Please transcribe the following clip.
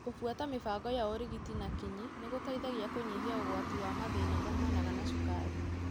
Kũbuata mibango ya ũrigiti na kinyi nĩgũteithagia kũnyihia ũgwati wa mathina maumanaga na cukari.